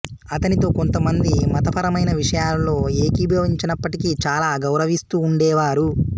అతనితో కొంతమంది మతపరమైన విషయాలలో ఏకీభవించనప్పటికీ చాలా గౌరవిస్తూ ఉండేవారు